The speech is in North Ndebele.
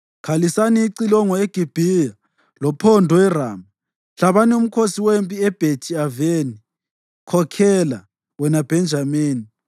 Khalisani icilongo eGibhiya, lophondo eRama. Hlabani umkhosi wempi eBhethi-Aveni; khokhela, wena Bhenjamini.